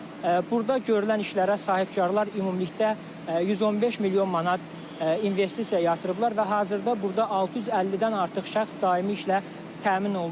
Burda görülən işlərə sahibkarlar ümumilikdə 115 milyon manat investisiya yatırıblar və hazırda burda 650-dən artıq şəxs daimi işlə təmin olunub.